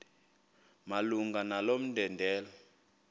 malunga nalo mbandela